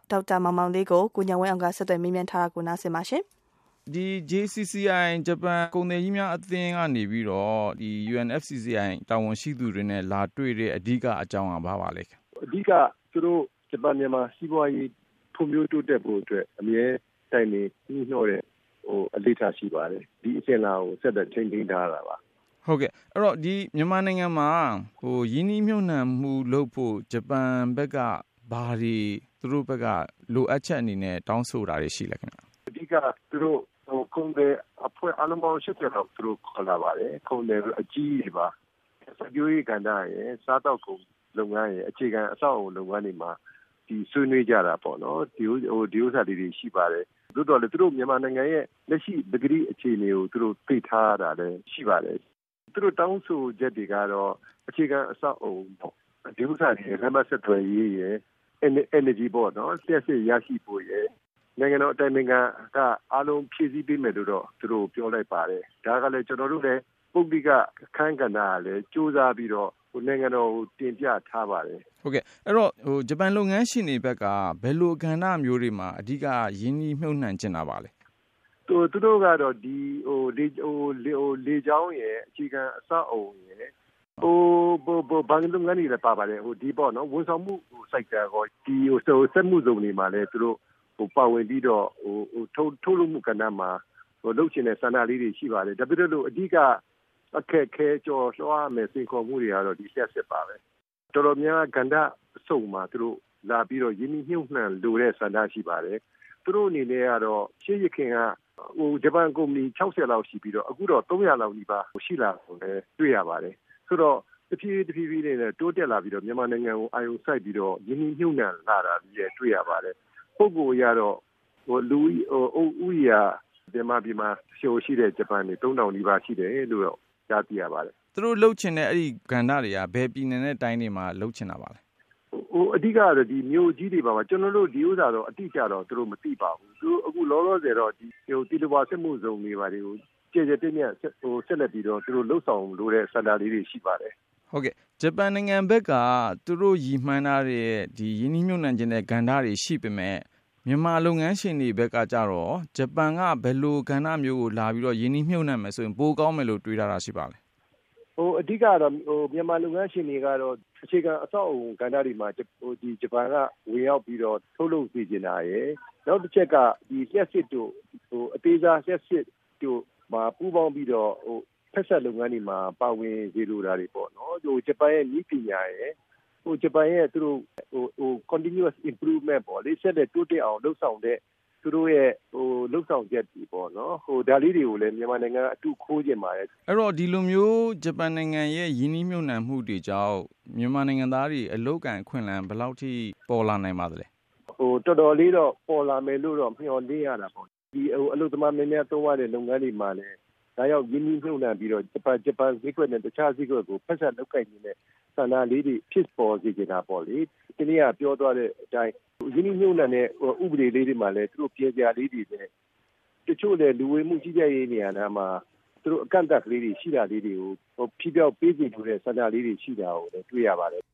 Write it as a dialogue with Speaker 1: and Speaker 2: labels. Speaker 1: ဒေါက်တာမောင်မောင်လေး
Speaker 2: UMFCCI ။ ။ အဓိကတေ
Speaker 1: ာ့ ဂျပန်မြန်မာ စီးပွားရေး ဖွံ့ဖြိုးတိုးတက်ဖို့အတွက် အမြဲတိုင်ပင် နှီးနှောတဲ့ အစဉ်အလာကို ဆက်လက်ထိန်း ထားတဲ့ သဘောပါ။
Speaker 2: မေး။ ။ မြန်မာနိုင်ငံမှာ ရင်းနှီးမြှုပ်နှံမှုလုပ်ဖို့ ဘာတွေ လိုအပ်ချက်ရှိတယ်လို့ ဂျပန် ဖက်က တောင်းဆိုနေတာတွေ ရှိပါသလဲ
Speaker 1: ။ ဖြေ။ ။ အဓိက သူတို့ ကုန်သည်အဖွဲ့ အားလုံးပေါင်း ၈၀ လောက်သူတို့ခေါ်လာ ပါတယ် ကုန်သည်ဆိုတာ အကြီးကြီးတွေပါ။ စိုက်ပျိုးရေး ကဏ္ဍရယ်၊ စားသောက်ကုန် လုပ်ငန်းရယ် အခြေခံ အဆောက်အဦ လုပ်ငန်းတွေမှာ ဆွေးနွေး ကြတာပေါ့နော်။ သို့သော်လည်း မြန်မာနိုင်ငံရဲ့ လက်ရှိ ပကတိအခြေအနေကို သူတို့သိထားတာတွေလည်း ရှိပါတယ်။ သူတို့တောင်းဆို ချက်တွေကတော့ အခြေခံ အဆောက်အဦပေါ့ - ဒီဥစ္စာရယ် လမ်းပန်းဆက်သွယ်ရေးရယ် Energy ပေါ့နော် လျှပ်စစ်ရရှိဖို့ရယ်… နိုင်ငံတော် အတိုင်ပင်ခံက အားလုံးဖြည့်ဆည်းပေးမယ် လို့တော့ သူတို့ကို ပြောလိုက်ပါတယ်။ ဒါကလည်း ကျနော်တို့ ပုဂ္ဂလိက အခန်း ကဏ္ဍကလည်း ကြိုးစားပြီးတော့ နိုင်ငံတော်ကို တင်ပြထား ပါတယ်
Speaker 2: ။ မေး။ ။ ဟုတ်ကဲ့အဲဒီတော့ ဂျပန်လုပ်ငန်းရှင်တွေဖက်က ဘယ်လိုကဏ္ဍမျိုးတွေမှာ အဓိက ရင်းနှီးမြှုပ်နှံချင်တာပါလဲ
Speaker 1: ။ ဖြေ။ ။ သူတို့ကတော့ လေကြောင်းရယ်၊ အခြေခံ အဆောက်အဦးရယ်၊ ဘဏ် လုပ်ငန်းတွေလည်း ပါပါတယ်။ ဒီ ဝန်ဆောင်မှု sector ရောပေါ့။ ဒီစက်မှုဇုန်တွေ မှာလည်း သူတို့ပါဝင်ပြီးတော့ ထုတ်လုပ်မှုကဏ္ဍမှာ လုပ်ချင်တဲ့ဆန္ဒလေးတွေ ရှိ ပါတယ်။ ဒါပေမယ့်လို့ အဓိက ကျော်လွှားရမယ့် အခက်အခဲ စိန်ခေါ်မှုတွေကတော့ လျှပ်စစ်ပါပဲ။ တော်တော်များများ ကဏ္ဍအစုံမှာ သူတို့လာပြီးတော့ ရင်းနှီးမြှုပ်နှံလိုတဲ့ ဆန္ဒရှိပါတယ်။ သူတို့အနေနဲ့ ရှေးယခင်က မြန်မာနိုင်ငံမှာ ဂျပန်ကုမ္ပဏီ ၆၀-လောက် ရှိပြီးတော့ အခုတော့ ၃၀၀ လောက်နီးပါး ရှိလာတာ ကိုလည်းတွေ့ရပါတယ်။ ဆိုတော့ တဖြည်းဖြည်းနဲ့ တိုးလာပြီးတော့ မြန်မာနိုင်ငံကို အာရုံစိုက်ပြီးတော့ ရင်းနှီးမြှုပ်နှံ လာတာတွေလည်းတွေ့ရ ပါတယ်။ လူဦးရေအရ ကတော့ မြန်မာပြည် မှာရှိတဲ့ ဂျပန်တွေ သုံးထောင်နီးပါး ရှိတယ်လို့တော့ ကြားသိရပါတယ်။ မေး
Speaker 2: ။ ။ သူတို့လုပ်ချင်တဲ့ အဲဒီကဏ္ဍတွေက ဘယ်ပြည်နယ်နဲ့ တိုင်းတွေမှာပါလဲ။
Speaker 1: ဖြေ။ ။ အဓိကကတော့ မြို့ကြီးတွေမှာပါ၊ ဒါကို အတိအကျကတော့ သူတို့မသိ ပါဘူး။ လောလောဆယ်တော့ သီလဝါစက်မှုဇုန်တွေ ဘာတွေကို ကျယ်ကျယ်ပြန့်ပြန့် ဆက်လက်ပြီးတော့ သူတို့လုပ်ဆောင်လိုတဲ့ ဆန္ဒလေးတွေ ရှိပါတယ်။
Speaker 2: မေး။ ။ ဂျပန်နိုင်ငံဖက်က သူတို့ရည်မှန်းထားတဲ့ ရင်းနှီးမြှုပ်နှံချင်တဲ့ကဏ္ဍတွေ ရှိပေမယ့် မြန်မာလုပ်ငန်းရှင်တွေဘက်က ကျတော့ကော ဂျပန်က ဘယ်လိုကဏ္ဍ မျိုးကို လာပြီးတော့ ရင်းနှီးမြှုပ်နှံမယ်ဆိုရင် ပိုကောင်းမယ်လို့ တွေးထားတာရှိပါသလဲ။
Speaker 1: ဖြေ။ ။ မြန်မာလုပ်ငန်းရှင်တွေကတော့ အခြေခံအဆောက်အဦကဏ္ဍတွေမှာ ဂျပန်က ဝင်ရောက်ပြီးတော့ ထုတ်လုပ်စေချင်တာရယ် နောက်တချက်က လျှပ်စစ်တို့ အသေးစား တို့မှာ ပူးပေါင်းပြီးတော့ ဖက်စပ်လုပ်ငန်းတွေမှာ ပါဝင်စေလို တာတွေပေါ့။ ဟို ဂျပန်ရဲ့နည်းပညာရယ် ဂျပန်ရဲ့ Continuous improvement ပေါ့ ဆက်လက်တိုးတက်အောင် လုပ်ဆောင်တဲ့ သူတို့ရဲ့ လုပ်ဆောင်ချက်တွေပေါ့နော်။ ဒါလေးတွေကိုလည်း မြန်မာနိုင်ငံက အတုခိုးချင်ပါတယ်။ မေး
Speaker 2: ။ ။ အဲဒီတော့ ဒီလိုမျိုး ဂျပန်နိုင်ငံရဲ့ ရင်းနှီးမြှုပ်နှံမှုတွေကြောင့် မြန်မာနိုင်ငံ သားတွေ အလုပ်အကိုင် အခွင့်အလမ်း ဘယ်လောက်ထိ ပေါ်လာနိုင်ပါသလဲ။ ဖြေ။ ။ တော်
Speaker 1: တော်လေး ပေါ်လာမယ်လို့တော့ မျှော်လင့်ရတာပေါ့။ ဒီ အလုပ်သမား များများ သုံးရတဲ့ လုပ်ငန်းတွေမှာလည်း လာရောက် ရင်းနှီးမြှုပ်နှံပြီးတော့ ဂျပန်ဈေး ကွက်နဲ့ တခြားဈေးကွက်ကို ဖက်စပ်လုပ်ကိုင်ချင်တဲ့ ဆန္ဒလေးတွေ ဖြစ်ပေါ်စေ ချင်တာပေါ့လေ။ ရင်းနှီးမြှုပ်နှံတဲ့ ဥပဒေတွေမှာ ပြင်စရာလေးတွေရော တချို့လည်း လူဝင်မှုဥပဒေမှာ အကန့်အသတ်ရှိတာလေးတွေကို ဖြေဖျောက်ပေးစေလိုတဲ့ ဆန္ဒရှိတာကို တွေ့ရပါတယ်